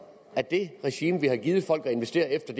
at det regime vi har givet folk at investere efter